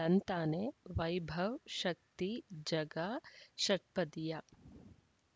ಳಂತಾನೆ ವೈಭವ್ ಶಕ್ತಿ ಝಗಾ ಷಟ್ಪದಿಯ